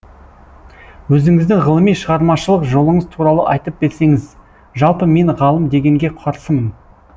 өзіңіздің ғылыми шығармашылық жолыңыз туралы айтып берсеңіз жалпы мен ғалым дегенге қарсымын